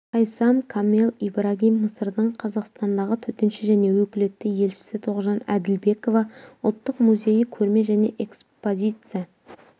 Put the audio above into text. хайсам камел ибрагим мысырдың қазақстандағы төтенше және өкілетті елшісі тоғжан әділбекова ұлттық музейі көрме және экспозиция